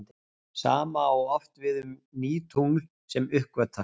Sama á oft við um ný tungl sem uppgötvast.